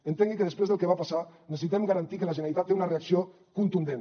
entengui que després del que va passar necessitem garantir que la generalitat té una reacció contundent